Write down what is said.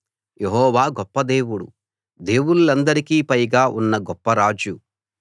యెహోవా గొప్ప దేవుడు దేవుళ్ళందరికీ పైగా ఉన్న గొప్ప రాజు